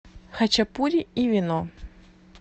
хачапури и вино